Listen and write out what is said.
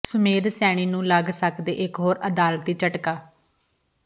ਸੁਮੇਧ ਸੈਣੀ ਨੂੰ ਲੱਗ ਸਕਦੈ ਇਕ ਹੋਰ ਅਦਾਲਤੀ ਝਟਕਾ